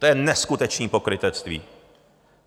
To je neskutečné pokrytectví.